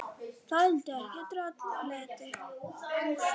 Þoldi ekki droll og leti.